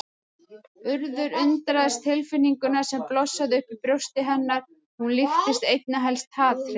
Urður undraðist tilfinninguna sem blossaði upp í brjósti hennar, hún líktist einna helst hatri.